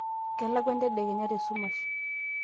kelakwa entedekenya te sumash